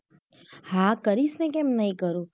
હા કરીશ ને કેમ નહિ કરું.